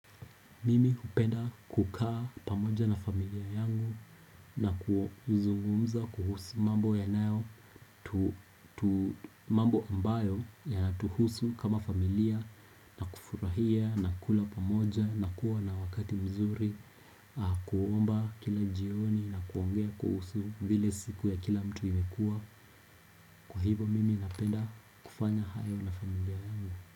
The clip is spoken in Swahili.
Mimi hupenda kukaa pamoja na familia yangu na kuzungumza kuhusu mambo ambayo yanatuhusu kama familia na kufurahia na kula pamoja na kuwa na wakati mzuri kuomba kila jioni na kuongea kuhusu vile siku ya kila mtu imekua kuhibo mimi napenda kufanya hayo na familia yangu.